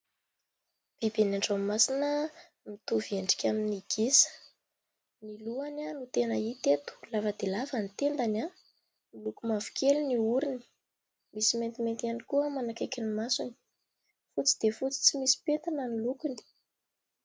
Biby an-dranomasina mitovy endrika amin'ny gisa, ny lohany no tena hita eto, lava dia lava ny tendany, miloko mavokely ny orony, misy maintimainty ihany koa manakaiky ny masony, fotsy dia fotsy tsy misy pentina ny lokony.